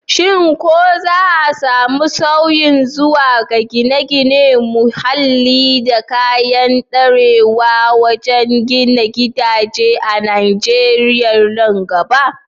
Shin ko za a samu sauyi zuwa ga gine-ginen muhalli da kayan ɗorewa wajen gina gidaje a Najeriya nan gaba?